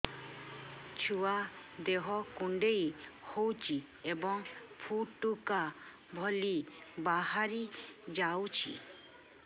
ଛୁଆ ଦେହ କୁଣ୍ଡେଇ ହଉଛି ଏବଂ ଫୁଟୁକା ଭଳି ବାହାରିଯାଉଛି